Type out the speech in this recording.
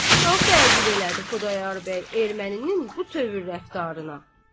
Çox təəccüb elədi Xudayar bəy Erməninin bu tövür rəftarına.